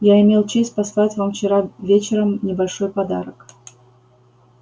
я имел честь послать вам вчера вечером небольшой подарок